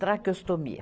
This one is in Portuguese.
Traqueostomia.